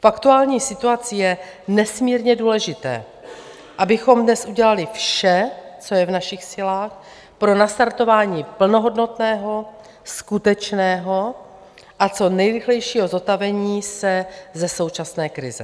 V aktuální situaci je nesmírně důležité, abychom dnes udělali vše, co je v našich silách, pro nastartování plnohodnotného, skutečného a co nejrychlejšího zotavení se ze současné krize.